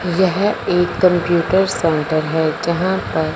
यह एक computer centre है जहां पर--